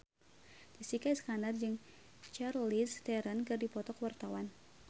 Jessica Iskandar jeung Charlize Theron keur dipoto ku wartawan